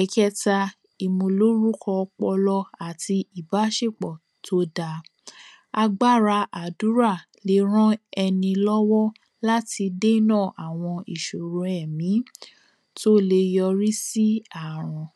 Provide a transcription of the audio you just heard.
Ẹ̀keta ìmúlórúkọ ọpọlọ àti ìbáṣekpọ̀ tó dá agbára àdúrà le rán ẹni lọ́wọ́ láti dénà àwọn ìṣòro ẹ̀mí tó le yọrí sí ààrùn.